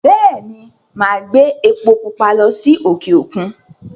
Bẹ́è ni, màá gbé epo púpa lọ sí òkè-òkun.